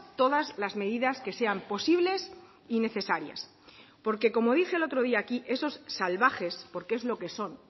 todas las medidas que sean posibles y necesarias porque como dije el otro día aquí esos salvajes porque es lo que son